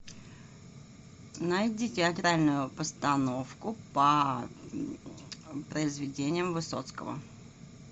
найди театральную постановку по произведениям высоцкого